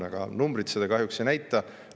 Aga numbrid seda kahjuks ei näita.